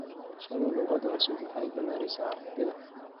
Barashada luqad cusub waxay ballaarisaa aragtida.